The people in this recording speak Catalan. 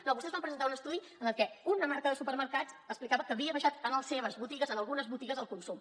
no vostès van presentar un estudi en què una marca de supermercats explicava que havia baixat en les seves botigues en algunes botigues el consum